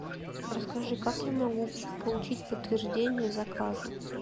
расскажи как я могу получить подтверждение заказа